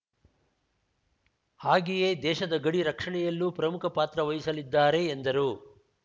ಹಾಗೆಯೇ ದೇಶದ ಗಡಿ ರಕ್ಷಣೆಯಲ್ಲೂ ಪ್ರಮುಖ ಪಾತ್ರ ವಹಿಸಲಿದ್ದಾರೆ ಎಂದರು